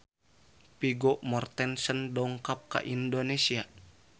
Vigo Mortensen dongkap ka Indonesia